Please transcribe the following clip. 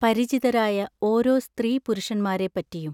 പരിചിതരായ ഓരോ സ്ത്രീ പുരുഷന്മാരെ പ്പറ്റിയും.